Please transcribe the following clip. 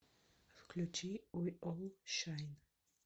включи ви ол шайн